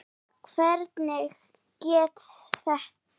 Jóhann: Hvernig gekk þetta?